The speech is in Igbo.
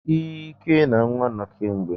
Ike na nwa no kemgbe.